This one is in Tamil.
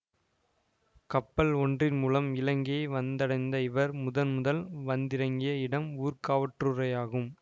கப்பல் ஒன்றின் மூலம் இலங்கையை வந்தடைந்த இவர் முதன்முதல் வந்திறங்கிய இடம் ஊர்காவற்றுறையாகும்